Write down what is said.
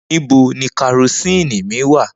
Nibo ni kerosene mi wa?